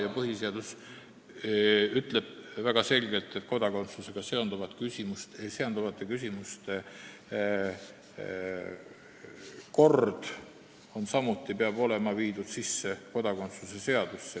Ja põhiseadus ütleb väga selgelt, et kodakondsusega seonduvate küsimuste kord peab olema viidud sisse kodakondsuse seadusesse.